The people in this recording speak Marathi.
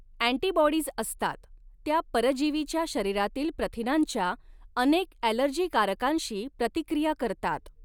अँटीबॉडीज असतात, ज्या परजीविच्या शरीरातील प्रथिनांच्या अनेक ॲलर्जीकारकांशी प्रतिक्रिया करतात.